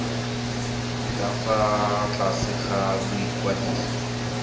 ka fa tlase ga boikwadiso